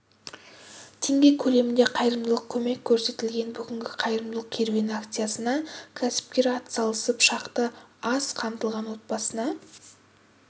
теңге көлемінде қайырымдылық көмек көрсетілген бүгінгі қайырымдылық керуені акциясына кәсіпкер атсалысып шақты аз қамтылған отбасына